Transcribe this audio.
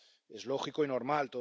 Es lógico y normal.